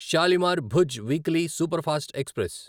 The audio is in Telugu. Shalimar Bhuj weekly superfast express